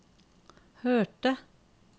hørte